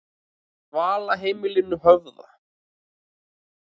Dvalarheimilinu Höfða